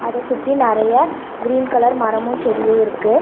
அத சுத்தி நறையா கிரீன் கலர் மரமு செடியு இருக்கு.